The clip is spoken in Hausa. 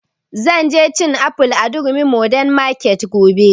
Zan je cin aful a durumi modern market gobe